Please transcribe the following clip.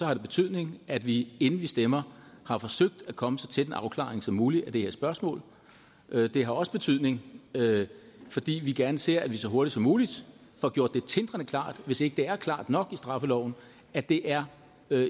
har det betydning at vi inden vi stemmer har forsøgt at komme så tæt en afklaring som muligt af det her spørgsmål det har også betydning fordi vi gerne ser at vi så hurtigt som muligt får gjort det tindrende klart hvis ikke det er klart nok i straffeloven at det er